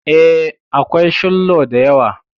E, akwai shillo da yawa.